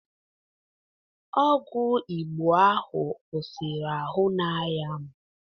Ọgwụ Igbo ahụ kwụsịrị ahụ na-aya m